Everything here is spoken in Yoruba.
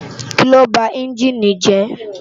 Kiló bá ènjini jè?